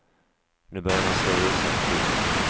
Nu börjar man se ljusare på tillvaron.